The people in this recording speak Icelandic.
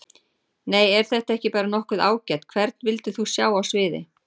Nei er þetta ekki bara nokkuð ágætt Hvern vildir þú sjá á sviði?